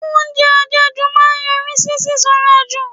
Oúnjẹ àjẹjù máa ń yọrí sí sísanra jù.